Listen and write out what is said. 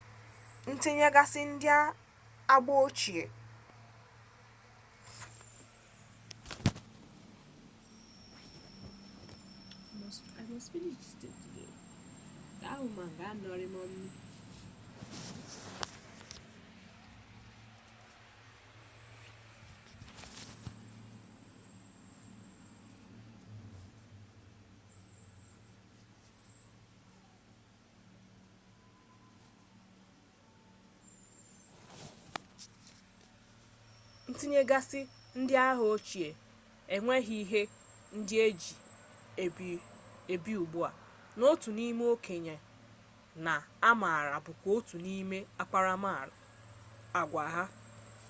ntinyegasi ndi agba-ochie enweghi ihe ndi eji ebi ugbua na otu ime-okenye na amara bu kwa otu nime akparama-agwa ha